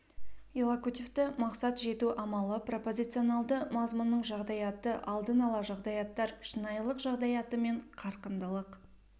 иллокутивті мақсат жету амалы пропозиционалды мазмұнның жағдаяты алдын ала жағдаяттар шынайылық жағдаяты мен қарқындылық